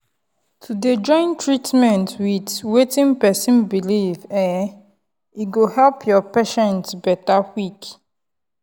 to dey join treatment with wetin person belief[um]e go help your patient better quick.